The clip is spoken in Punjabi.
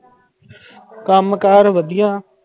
ਕੰਮ ਕਾਰ ਵਧੀਆ।